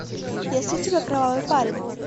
есть у тебя кровавый парень